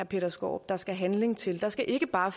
peter skaarup der skal handling til der skal ikke bare